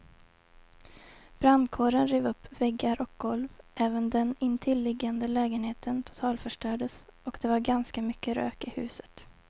Brandkåren rev upp väggar och golv, även den intilliggande lägenheten totalförstördes och det var ganska mycket rök i huset.